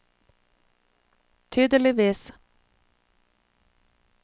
tydeligvis